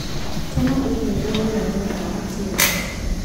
Tũma i-mīrū wĩraini kwa Mutinda